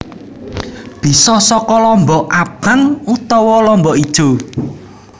Bisa saka lombok abang utawa lombok ijo